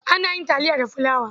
Ana yin taliya da fulawa.